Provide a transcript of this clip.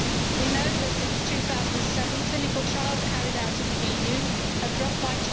We know that since 2007 clinical trials carried out in the EU have dropped by